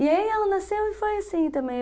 E aí ela nasceu e foi assim também.